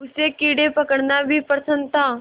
उसे कीड़े पकड़ना भी पसंद था